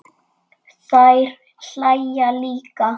Þær hlæja líka.